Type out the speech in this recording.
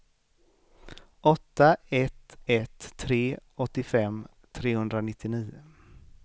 åtta ett ett tre åttiofem trehundranittionio